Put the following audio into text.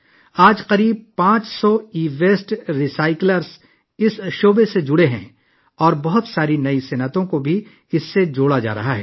اس وقت تقریباً 500 e waste recyclers اس شعبے سے وابستہ ہیں اور بہت سے نئے کاروباری افراد بھی اس سے منسلک ہو رہے ہیں